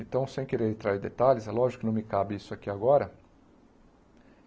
Então, sem querer entrar em detalhes, é lógico que não me cabe isso aqui agora.